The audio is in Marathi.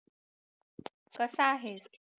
कसा आहेस